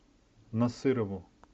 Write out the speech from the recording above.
насырову